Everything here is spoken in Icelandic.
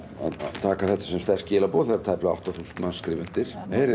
taka þetta sem sterk skilaboð þegar tæplega átta þúsund manns skrifa undir